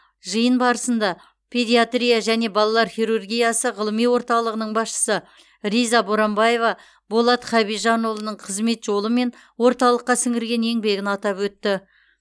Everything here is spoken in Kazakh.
жиын барысында педиатрия және балалар хирургиясы ғылыми орталығының басшысы риза боранбаева болат хабижанұлының қызмет жолы мен орталыққа сіңірген еңбегін атап өтті